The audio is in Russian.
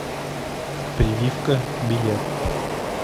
прививка билет